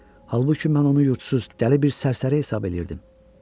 Halbuki mən onu yurdsuz, dəli bir sərsəri hesab eləyirdim.